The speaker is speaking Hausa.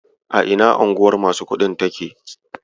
A ina unguwar masu kuɗin take?